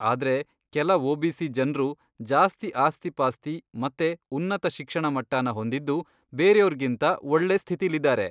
ಆದ್ರೆ ಕೆಲ ಒ.ಬಿ.ಸಿ. ಜನ್ರು ಜಾಸ್ತಿ ಆಸ್ತಿಪಾಸ್ತಿ ಮತ್ತೆ ಉನ್ನತ ಶಿಕ್ಷಣಮಟ್ವನ ಹೊಂದಿದ್ದು ಬೇರ್ಯೋರ್ಗಿಂತ ಒಳ್ಳೆ ಸ್ಥಿತಿಲಿದಾರೆ.